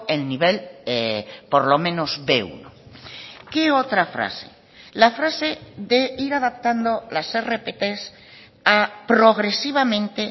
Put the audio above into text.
el nivel por lo menos be uno qué otra frase la frase de ir adaptando las rpt a progresivamente